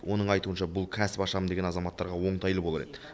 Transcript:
оның айтуынша бұл кәсіп ашамын деген азаматтарға оңтайлы болар еді